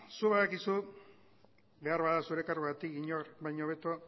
zuk badakizu behar bada zure karguagatik inor baino hobeto